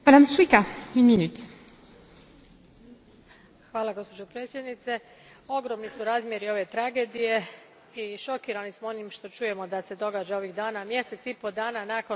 Gospođo predsjednice, ogromni su razmjeri ove tragedije i šokirani smo onim što čujemo da se događa ovih dana, mjesec i pol dana nakon humanitarne drame koja se dogodila u Nepalu.